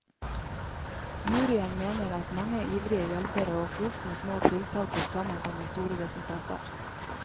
Juryen mener at mange ivrige hjelpere og flust med små tiltak til sammen kan gi store resultater.